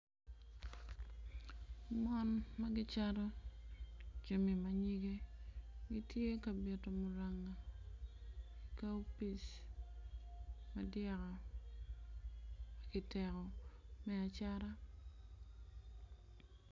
Mon ma ki cato jami ma nyige gitye ka bito muranga kaopis madyaka kiteko me acata